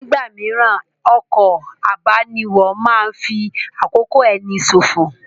Nígbà mìíràn, ọkọ̀ abániwọ̀ máa ń fi àkókò ẹni ṣòfò